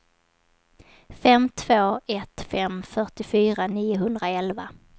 fem två ett fem fyrtiofyra niohundraelva